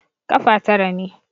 Ƙafa tara ne.